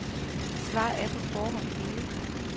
Svaret er på forhånd givet.